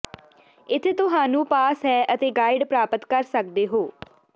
ਇੱਥੇ ਤੁਹਾਨੂੰ ਪਾਸ ਹੈ ਅਤੇ ਗਾਈਡ ਪ੍ਰਾਪਤ ਕਰ ਸਕਦੇ ਹੋ